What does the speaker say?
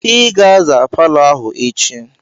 I ga-aza palọ ahụ echi!